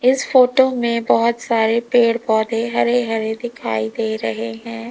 इस फोटो में बहुत सारे पेड़ पौधे हरे हरे दिखाई दे रहे हैं।